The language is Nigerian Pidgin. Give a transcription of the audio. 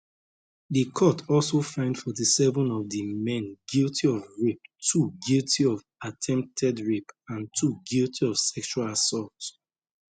di court also find 47 of di men guilty of rape two guilty of attempted rape and two guilty of sexual assault